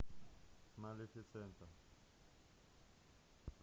малефисента